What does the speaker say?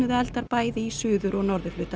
bæði í suður og norðurhluta